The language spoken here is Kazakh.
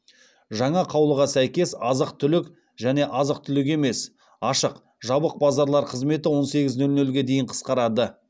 жаңа қаулыға сәйкес азық түлік және азық түлік емес ашық жабық базарлар қызметі он сегіз нөл нөлге дейін қысқарады